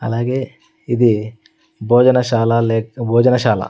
అలాగే ఇది భోజనశాల లేక్ భోజనశాల--